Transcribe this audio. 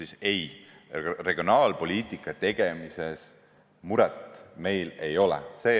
Aga ei, regionaalpoliitika tegemise asjus meil muret ei ole.